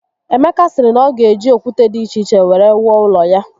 Emeka siri na o ga eji okwute di iche iche were wuo ulo ya